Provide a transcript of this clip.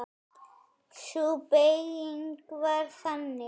Sú beyging var þannig